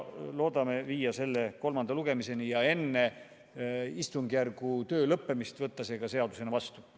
Loodame viia eelnõu kolmanda lugemiseni ja enne istungjärgu töö lõppemist selle seadusena vastu võtta.